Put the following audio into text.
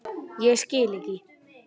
Ég skil ekki.